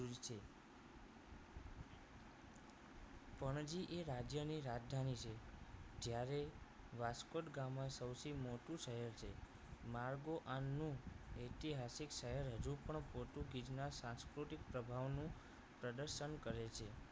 પણજીએ રાજ્યની રાજધાની છે જ્યારે વાસ્કો દી ગામા સૌથી મોટું શહેર છે માર્ગો આનું ઐતિહાસિક શહેર હજુ પણ પોર્ટુગીઝ ના સાંસ્કૃતિક પ્રભાવનું પ્રદર્શન કરે છે